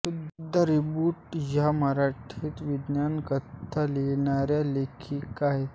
सुधा रिसबूड या मराठीत विज्ञानकथा लिहिणाऱ्या लेखिका आहेत